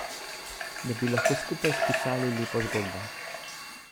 Da bi lahko skupaj spisali lepo zgodbo.